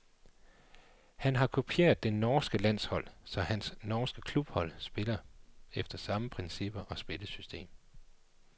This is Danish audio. Han har kopieret det norske landshold, så hans norske klubhold spiller efter samme principper og spillesystem.